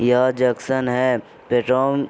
यह जंक्शन है --